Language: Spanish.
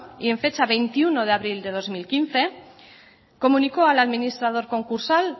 y en fecha veintiuno de abril de dos mil quince comunicó al administrador concursal